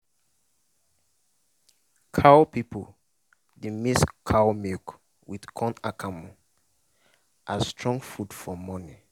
cow people dey mix cow milk with corn akamu as strong food for morning